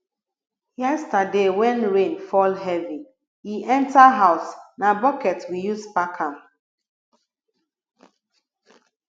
yesterday wen rain fall heavy e enter house na bucket we use pack am